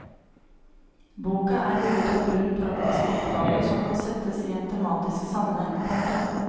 Boka er bygget opp rundt praktiske oppgaver som kan settes i en tematisk sammenheng. punktum